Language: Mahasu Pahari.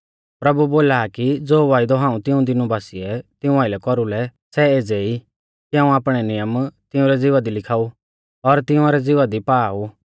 प्रभु बोला आ कि ज़ो वायदौ हाऊं तिऊं दीनु बासिऐ तिऊं आइलै कौरुलै सै एज़ै ई कि हाऊं आपणै नियम तिंउरै ज़िवा दी लिखाऊ और तिंउरै ज़िवा दी पा ऊ